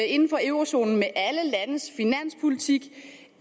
inden for eurozonen med alle landes finanspolitik